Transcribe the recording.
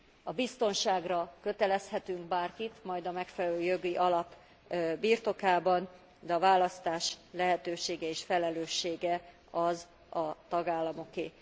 A biztonságra kötelezhetünk bárkit majd a megfelelő jogi alap birtokában, de a választás lehetősége és felelőssége a tagállamoké.